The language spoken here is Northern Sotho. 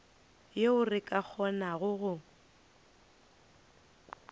yeo re ka kgonago go